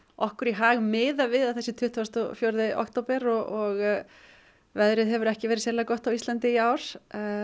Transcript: okkur í hag miðað við að sé tuttugasta og fjórða október og veðrið hefur ekki verið sérlega gott á Íslandi í ár